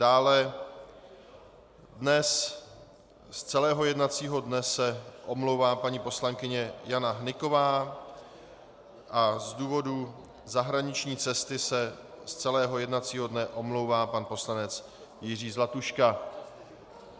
Dále dnes z celého jednacího dne se omlouvá paní poslankyně Jana Hnyková a z důvodu zahraniční cesty se z celého jednacího dne omlouvá pan poslanec Jiří Zlatuška.